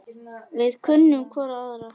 Við kunnum hvor á aðra.